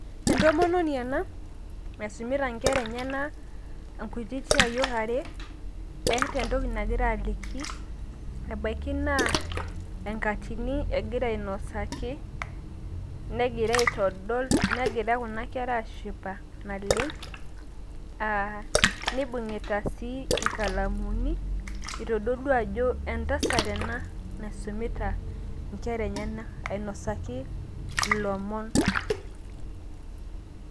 Entomononi ena naisumita inkera enyena, inkutiti ayiok are, eeta entoki nagira aliki, nebaiki naa enkatini egira ainosaki, negira aitodol, negira kuna kera aashipa naleng', nibung'ita sii inkalamuni. Itodolua ajo entasat ena naisumita inkera enyena ainosaki ilomon